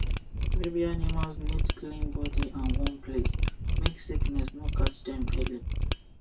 baby animals need clean body and warm place make sickness no catch dem early